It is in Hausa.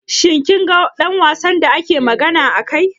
Shi kin ga ɗan wasan da nake magana a kai?